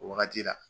O wagati la